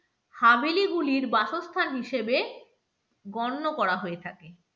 হাভেলি গুলির বাসস্থান হিসেবে গণ্য করা হয়ে থাকে।